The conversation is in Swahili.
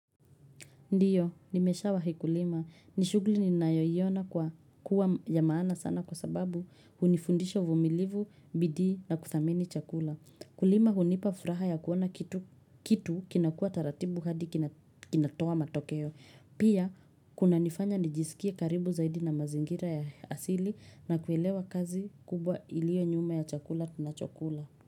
Ndio, nimesha wahi kulima. Nishuguli ni nayoyiona kwa kuwa ya maana sana kwa sababu hunifundisha uvumilivu, bidii na kuthamini chakula. Kulima hunipafuraha ya kuona kitu kitu kinakua taratibu hadi kinatoa matokeo. Pia, kuna nifanya nijisikie karibu zaidi na mazingira ya asili na kuelewa kazi kubwa ilio nyuma ya chakula tunachokula.